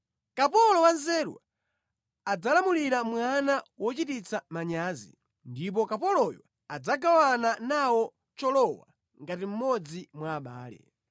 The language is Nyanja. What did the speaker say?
Kapolo wanzeru adzalamulira mwana wochititsa manyazi, ndipo kapoloyo adzagawana nawo cholowa ngati mmodzi mwa abale.